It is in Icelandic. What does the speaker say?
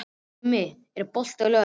Gummi, er bolti á laugardaginn?